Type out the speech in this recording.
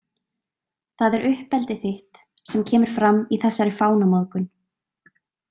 Það er uppeldið þitt sem kemur fram í þessari fánamóðgun.